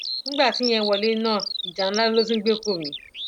nígbà tíyẹn wọlé náà ìjà ńlá ló tún gbé kò mí